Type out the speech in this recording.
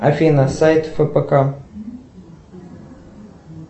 афина сайт фпк